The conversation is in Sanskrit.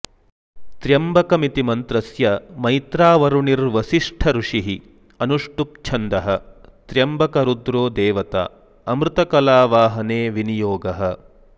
त्र्यम्बकमिति मन्त्रस्य मैत्रावरुणिर्वसिष्ठ ऋषिः अनुष्टुप् छन्दः त्र्यम्बक रुद्रो देवता अमृतकलावाहने विनियोगः